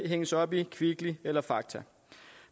hænges op i kvickly eller fakta